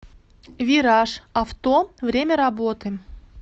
вираж авто время работы